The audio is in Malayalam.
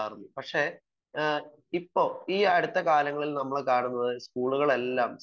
കുറവുകൾ ഉണ്ടാവാം പക്ഷെ ഈ അടുത്ത കാലങ്ങളിൽ നമ്മൾ കാണുന്നത്